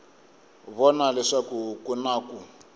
vona leswaku ku na ku